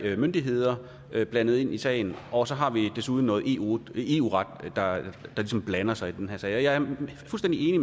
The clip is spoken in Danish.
myndigheder blandet ind i sagen og så har vi desuden noget eu eu ret der ligesom blander sig i den her sag jeg er fuldstændig enig